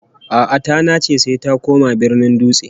A'a, ta nace sai ta koma garin Dutse